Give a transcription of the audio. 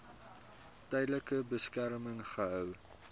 tydelike beskerming gehou